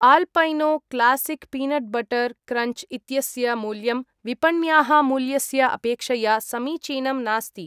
Alpino classic peanut butter crunch इत्यस्य मूल्यं विपण्याः मूल्यस्य अपेक्षया समीचीनं नास्ति।